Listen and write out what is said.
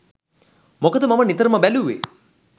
මොකද මම නිතරම බැලූවේ